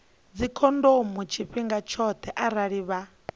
dzikhondomo tshifhinga tshoṱhe arali vha